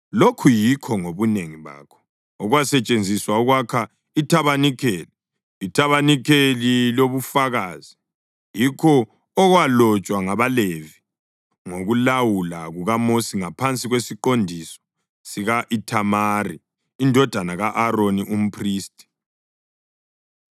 Lokhu yikho ngobunengi bakho, okwasetshenziswa ukwakha ithabanikeli, ithabanikeli lobufakazi, yikho okwalotshwa ngabaLevi ngokulawula kukaMosi ngaphansi kwesiqondiso sika-Ithamari indodana ka-Aroni, umphristi.